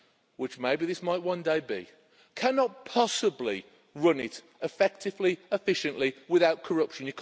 which maybe this might one day be cannot possibly run it effectively, efficiently without corruption.